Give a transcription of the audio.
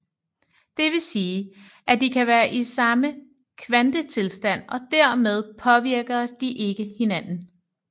Det vil sige at de kan være i samme kvantetilstand og dermed påvirker de ikke hinanden